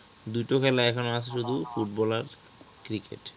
দুটো খেলা আছে আর ফুটবল আর cricket